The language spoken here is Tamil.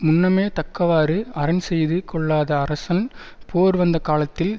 முன்னமே தக்கவாறு அரண் செய்து கொள்ளாத அரசன் போர் வந்த காலத்தில்